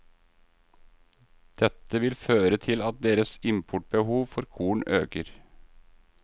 Dette vil føre til at deres importbehov for korn øker.